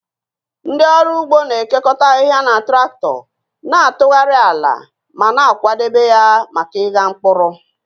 Ndị ọrụ ugbo na-ekekọta ahịhịa na traktọ, na-atụgharị ala ma na-akwadebe ya maka ịgha mkpụrụ